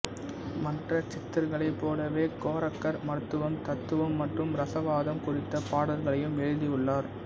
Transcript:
மற்ற சித்தர்களைப் போலவே கோரக்கர் மருத்துவம் தத்துவம் மற்றும் ரசவாதம் குறித்த பாடல்களையும் எழுதியுள்ளார்